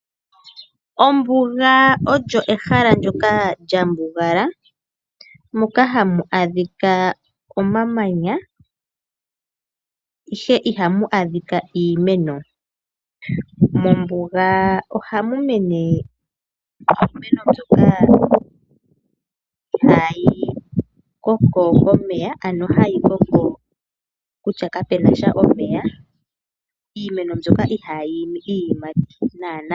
Ombuga olyo ehala ndyoka lyambugala, moka hamu adhika omamanya, ihe ihamu adhika iimeno. Mombuga ohamu mene iimeno mbyoka ihayi koko komeya ano hayi koko kutya kapenasha omeya, iimeno mbyoka ihayi imi iiyimati nana.